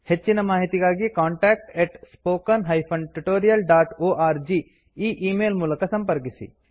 ಹೆಚ್ಚಿನ ಮಾಹಿತಿಗಾಗಿ contact spoken tutorialorg contact at spoken hyphen tutorial dot O R G e email ಮೂಲಕ ಸಂಪರ್ಕಿಸಿ